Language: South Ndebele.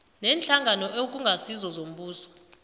neenhlangano okungasizo zombuso